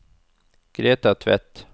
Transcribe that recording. Greta Tvedt